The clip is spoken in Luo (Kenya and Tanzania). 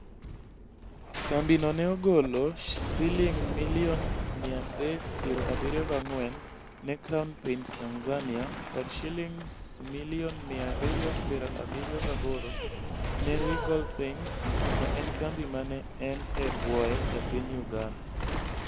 Kambiano ne ogolo Sh374 million ne Crown Paints Tanzania kod Sh278 million ne Regal Paints, ma en kambi ma ne en e bwoye e piny Uganda.